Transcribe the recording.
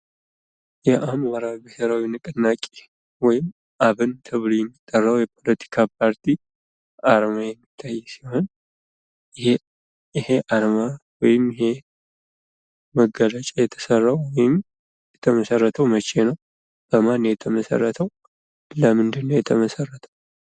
የአማራ ብሔራዊ ንቅናቄ ወይም አብን ተብሎ የሚጠራው የፖለቲካ ፓርቲ አርማ የሚታይ ሲሆን ይሄ አርማ ወይም ይሄ መገለጫ የተሳለው ወይም የተመሰረተው መቼ ነው ፣በማን ነው የተመሰረተው፣ ለምንድነው የተመሰረተው?